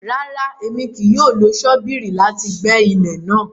Rara, Èmí kìí yóò lo ṣobírì láti gbẹ ilẹ náà